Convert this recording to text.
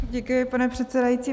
Děkuji, pane předsedající.